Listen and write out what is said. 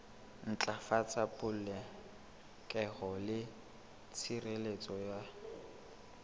ntlafatsa polokeho le tshireletso ya